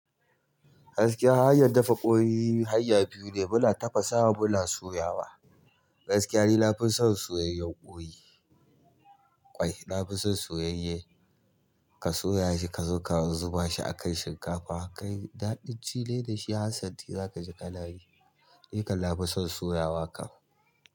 Gaskiya hanyar dafa ƙoyi hanya biyu ne, muna tafasawa muna soyawa. Gaskiya ni nafison soyayyen koyi ƙwai na fi son soyayye. Ka soya shi kazo ka zubashi akan shinkafa, kai daɗin cine dashi zakaji har santi kakeyi. Ni kan na fi son soyawa kam.